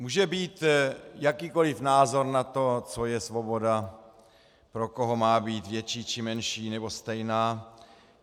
Může být jakýkoli názor na to, co je svoboda, pro koho má být větší, či menší, či stejná.